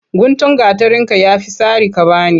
Guntun gatarinka ya fi sari ka ba ni.